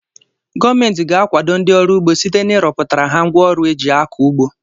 Gọọmenti ga-akwado ndị ọrụ ugbo site na ịrọpụtara ha ngwa ọrụ eji akọ ugbo.